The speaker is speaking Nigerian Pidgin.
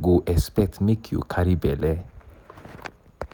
go expect make you carry belle.